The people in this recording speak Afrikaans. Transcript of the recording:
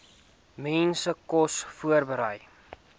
mense kos voorberei